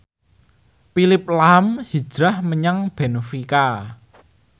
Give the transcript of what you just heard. Phillip lahm hijrah menyang benfica